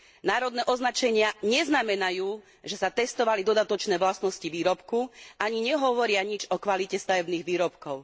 Národné označenia neznamenajú, že sa testovali dodatočné vlastnosti výrobku, ani nehovoria nič o kvalite stavebných výrobkov.